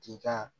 K'i ka